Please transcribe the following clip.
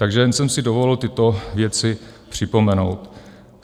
Takže jen jsem si dovolil tyto věci připomenout.